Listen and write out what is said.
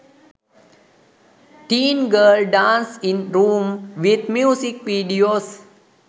teen girl dance in room with music videos